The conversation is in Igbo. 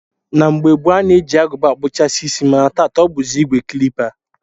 Na mgbe gboo, a na-eji Agụba akpụcha isi mana taa ọ bụzi ìgwè klipa